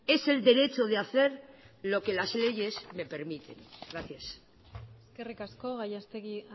es el derecho de hacer lo que las leyes me permiten gracias eskerrik asko gallastegui